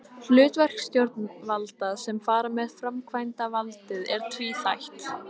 Hlutverk stjórnvalda sem fara með framkvæmdavaldið er tvíþætt.